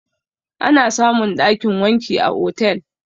Ana samun ɗakin wanki a otel